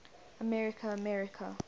america america